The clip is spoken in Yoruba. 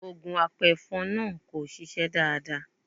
Ògùn apẹ̀fọn náà kò ṣiṣẹ́ dáadáa.